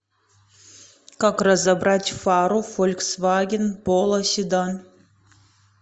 как разобрать фару фольксваген поло седан